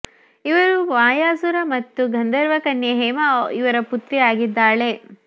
ಇವಳು ಮಯಾಸುರ ಮತ್ತು ಗಂಧರ್ವ ಕನ್ಯೆ ಹೇಮಾ ಇವರ ಪುತ್ರಿ ಆಗಿದ್ದಾಳೆ